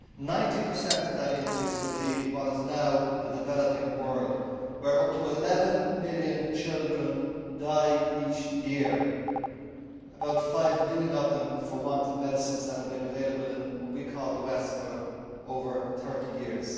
Ninety per cent of that increase will be in what is now the developing world, where up to 11 million children die each year, about five million of them for want of medicines that have been available in what we call the West for over 30 years.